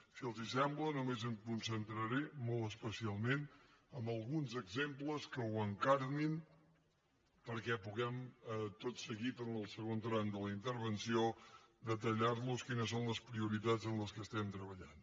si els sembla només em concentraré molt especialment en alguns exemples que ho encarnin perquè puguem tot seguit en el segon tram de la intervenció detallar los quines són les prioritats en què treballem